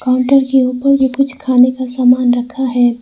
Counter के ऊपर भी कुछ खाने का सामान रखा है।